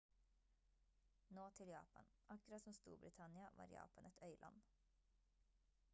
nå til japan akkurat som storbritannia var japan et øyland